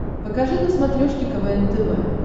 покажи на смотрешке квн тв